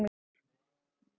Hann er með tíu áhorfendur.